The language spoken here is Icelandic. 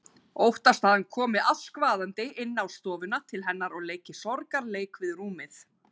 Óttast að hann komi askvaðandi inn á stofuna til hennar og leiki sorgarleik við rúmið.